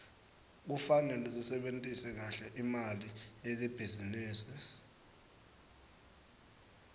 kufanele sisebentise kahle imali yelibhizinisi